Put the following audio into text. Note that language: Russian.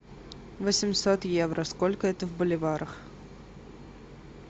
восемьсот евро сколько это в боливарах